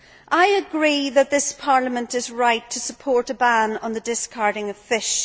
I agree that this Parliament is right to support a ban on the discarding of fish.